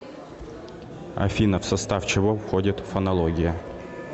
афина в состав чего входит фонология